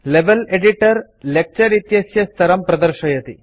level editor lecture इत्यस्य स्तरं प्रदर्शयति